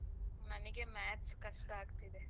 ನನಿಗೆ maths ಕಷ್ಟ ಆಗ್ತಿದೆ.